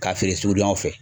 K'a feere sugudonyaw fɛ.